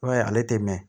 I b'a ye ale tɛ mɛn